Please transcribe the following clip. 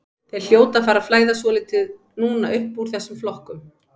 Þeir hljóta að fara að flæða svolítið núna uppúr þessum flokkum.